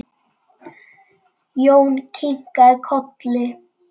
Jón kinkaði kolli.